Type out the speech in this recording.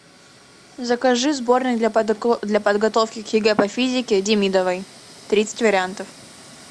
закажи сборник для подготовки к егэ по физике демидовой тридцать вариантов